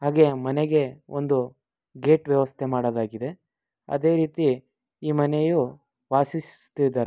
ಹಾಗೆ ಮನೆಗೆ ಒಂದು ಗೇಟ್ ವ್ಯವಸ್ಥೆ ಮಾಡಲಾಗಿದೆ ಅದೆ ರೀತಿ ಈ ಮನೆಯು ವಾಸಿಸುತ್ತಿದ್ದರೆ--